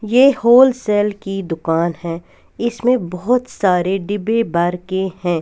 यह होलसेल की दुकान है इसमें बहुत सारे डिब्बे बरके हैं.